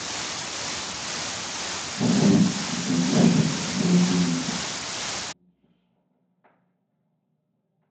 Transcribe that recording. фильм бегущий в лабиринте